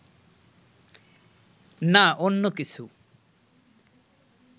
না অন্য কিছু